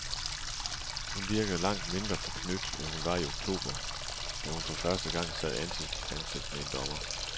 Hun virkede langt mindre forknyt, end hun var i oktober, da hun for første gang sad ansigt til ansigt med en dommer.